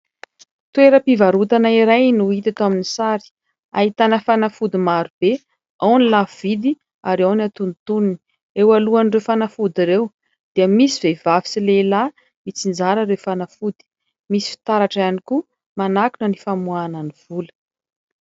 Toeram-pivarotana iray no hita ato amin'ny sary, ahitana fanafody maro be ao ny lafo vidy ary ao ny atonitoniny. Eo alohan'ireo fanafody ireo dia misy vehivavy sy lehilahy mitsinjara ireo fanafody, misy fitaratra ihany koa manakona ny famoahana ny vola.